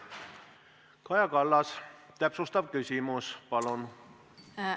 Kaja Kallas, täpsustav küsimus, palun!